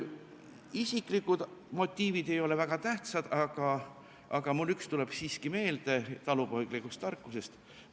Isiklikud motiivid ei ole väga tähtsad, aga mul üks tuleb siiski talupoeglikust tarkusest meelde.